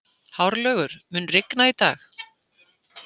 Hárlaugur, mun rigna í dag?